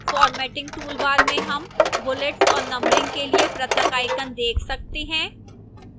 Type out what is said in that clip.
formatting toolbar में हम bullets और numbering के लिए पृथक icons देख सकते हैं